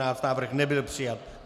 Návrh nebyl přijat.